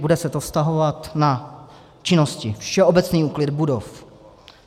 Bude se to vztahovat na činnosti všeobecný úklid budov.